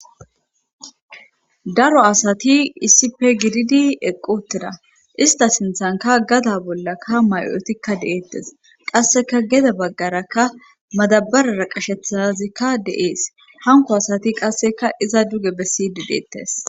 daro asati issipe gididi eqqotida ista sinthanka gada bollakka mayotikka de7eettes qasseka geda baggarakka madabarara qashethazikka de7ees hanko asati qasseka iza duge bessidi deettes